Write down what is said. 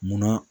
Munna